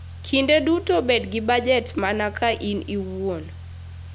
Kinde duto bed gi bajet mana ka in iwuon.